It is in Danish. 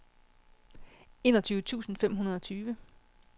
enogtyve tusind fem hundrede og tyve